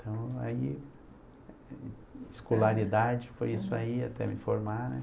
Então, aí, escolaridade foi isso aí até me formar, né?